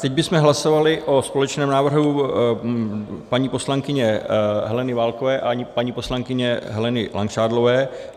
Teď bychom hlasovali o společném návrhu paní poslankyně Heleny Válkové a paní poslankyně Heleny Langšádlové.